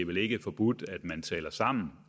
vel ikke forbudt at man taler sammen